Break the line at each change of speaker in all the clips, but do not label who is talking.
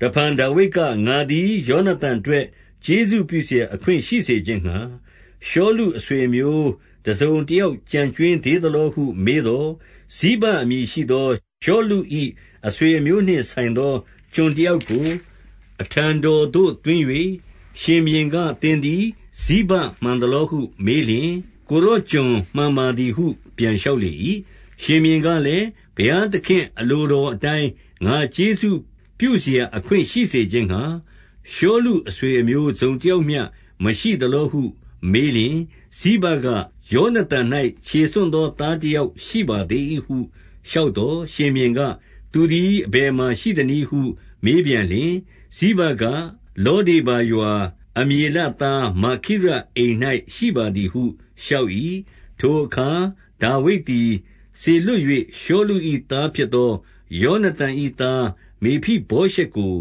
တဖန်ဒါဝိဒ်က၊ ငါသည် ယောနသန်အတွက် ကျေးဇူးပြုစရာ အခွင့်ရှိစေခြင်းငှါ၊ ရှောလုအဆွေအမျိုး တစုံတယောက် ကျန်ကြွင်းသေးသလောဟု မေးသော်၊ 2 ဇိဘအမည်ရှိသော ရှောလု၏ အဆွေအမျိုးနှင့်ဆိုင်သော ကျွန်တယောက်ကို အထံတော်သို့သွင်း၍ ရှင်ဘုရင်က၊ သင်သည် ဇိဘမှန်သလောဟုမေးလျှင်၊ ကိုယ်တော်ကျွန်မှန်ပါသည်ဟု ပြန်လျှောက်လေ၏။ 3 ရှင်ဘုရင်ကလည်း၊ ဘုရားသခင့်အလိုတော်အတိုင်း ငါကျေးဇူးပြုစရာ အခွင့်ရှိစေခြင်းငှါ၊ ရှောလုအဆွေအမျိုးတစုံ တယောက်မျှမရှိသလောဟု မေးလျှင် ဇိဘက၊ ယောနသန်၌ ခြေဆွံ့သောသားတယောက် ရှိပါသေး၏ဟု လျှောက်သော်၊ 4 ရှင်ဘုရင်က၊ သူသည်အဘယ်မှာရှိသနည်းဟု မေးပြန်လျှင်၊ ဇိဘက၊ လောဒေဗာရွာ၊ အမျေလသား မာခိရအိမ်၌ ရှိပါသည်ဟု လျှောက်၏။ 5 ထိုအခါ ဒါဝိဒ်သည် စေလွှတ်၍ ရှောလု၏သားဖြစ်သော ယောနသန်၏သား မေဖိဗောရှက်ကို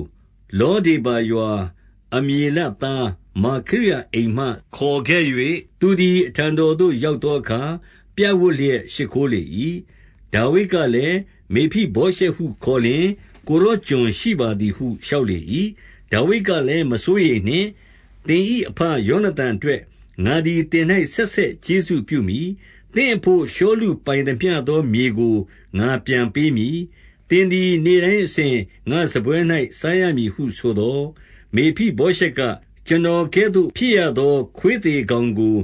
၊ လောဒေဗာရွာ၊ အမျေလသားမာခိရ အိမ်မှခေါ်ခဲ့၍၊ 6 သူသည် အထံတော်သို့ ရောက်သောအခါ ပြပ်ဝပ်လျက် ရှိခိုးလေ၏။ ဒါဝိဒ်ကလည်း၊ မေဖိဗောရှက်ဟုခေါ်လျှင်၊ ကိုယ်တော်ကျွန်ရှိပါသည်ဟုလျှောက်လေ၏။ 7 ဒါဝိဒ်ကလည်း မစိုးရိမ်နှင့်။ သင်၏အဘ ယောနသန်အတွက် ငါသည်သင်၌ ဆက်ဆက်ကျေးဇူးပြုမည်။ သင့်အဘို့ရှောလုပိုင်သမျှသော မြေကို ငါပြန်ပေးမည်။ သင်သည် နေ့တိုင်းအစဉ်ငါ့စားပွဲ၌ စားရမည်ဟုဆိုသော်၊ 8 မေဖိဗောရှက်က၊ ကျွန်တော်ကဲ့သို့ဖြစ်ရသော ခွေးသေကောင်ကို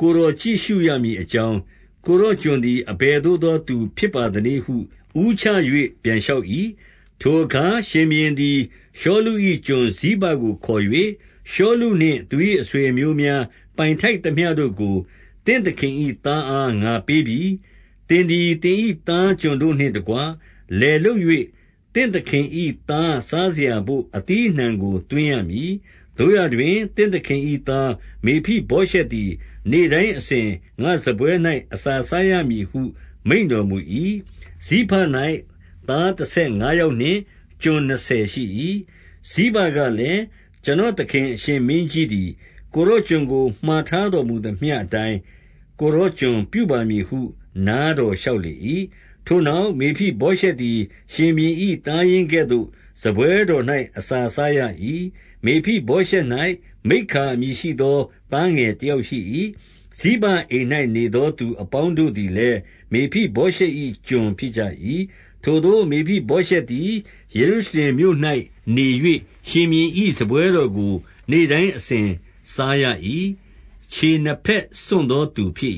ကိုယ်တော်ကြည့်ရှုရမည်အကြောင်း၊ ကိုယ်တော်ကျွန်သည် အဘယ်သို့သောသူဖြစ်ပါသနည်း ဟု ဦးချ၍ပြန်လျှောက်၏။ 9 ထိုအခါရှင်ဘုရင်သည် ရှောလု၏ကျွန်ဇိဘကို ခေါ်၍၊ ရှောလုနှင့် သူ၏အဆွေအမျိုးများ ပိုင်ထိုက်သမျှ တို့ကို သင့်သခင်၏သားအား ငါပေးပြီ။ 10 သင်သည်သင်၏သားကျွန်တို့နှင့်တကွ လယ်လုပ်၍ သင့်သခင်၏သားစားစရာဘို့ အသီးအနှံကို သွင်းရမည်။ သို့ရာတွင် သင့်သခင်၏သား မေဖိဗောရှက်သည် နေ့တိုင်းအစဉ် ငါ့စားပွဲ၌ အစာစားရမည်ဟု မိန့်တော်မူ၏။ ဇိဘ၌ သားတဆယ်ငါးယောက်နှင့် ကျွန်နှစ်ဆယ်ရှိ၏။ 11 ဇိဘကလည်း၊ ကျွန်တော်သခင်အရှင်မင်းကြီးသည် ကိုယ်တော်ကျွန်ကို မှာထားတော်မူသမျှအတိုင်း၊ ကိုယ်တော်ကျွန်ပြုပါမည်ဟု နားတော်လျှောက်၏။ ထိုနောက်၊ မေဖိဗောရှက်သည် ရှင်ဘုရင်၏သားရင်းကဲ့သို့ စားပွဲတော်၌ အစာစားရ၏။ 12 မေဖိဗောရှက်၌ မိက္ခာအမည်ရှိသော သားငယ်တယောက်ရှိ၏။ ဇိဘအိမ်၌ နေသောသူအပေါင်း တို့သည်လည်း မေဖိဗောရှက်၏ ကျွန်ဖြစ်ကြ၏။ 13 ထိုသို့ မေဖိဗောရှက်သည် ယေရုရှလင်မြို့၌နေ၍ ရှင်ဘုရင်၏စားပွဲတော်၌ နေ့တိုင်းအစဉ်စားရ၏။ ခြေနှစ်ဘက်ဆွံ့သောသူဖြစ်